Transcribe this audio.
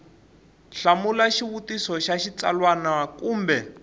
hlamula xivutiso xa xitsalwana kumbe